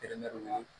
Tereɲɔgɔn